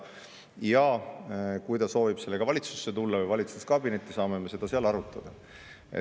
Ja kui ta soovib sellega valitsusse tulla või valitsuskabinetti, siis me saame seda seal arutada.